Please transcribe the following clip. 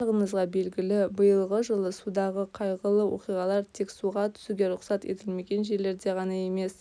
барлығыңызға белгілі биылғы жылы судағы қайғылы оқиғалар тек суға түсуге рұқсат етілмеген жерлерде ғана емес